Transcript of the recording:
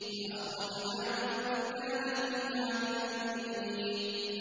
فَأَخْرَجْنَا مَن كَانَ فِيهَا مِنَ الْمُؤْمِنِينَ